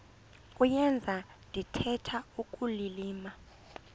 kuyenza ndithetha ukulilima